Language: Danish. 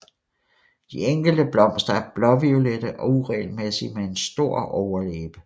De enkelte blomster er blåviolette og uregelmæssige med en stor overlæbe